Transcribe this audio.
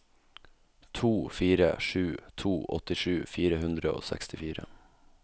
to fire sju to åttisju fire hundre og sekstifire